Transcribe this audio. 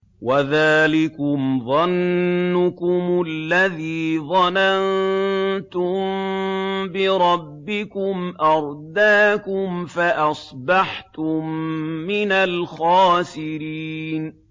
وَذَٰلِكُمْ ظَنُّكُمُ الَّذِي ظَنَنتُم بِرَبِّكُمْ أَرْدَاكُمْ فَأَصْبَحْتُم مِّنَ الْخَاسِرِينَ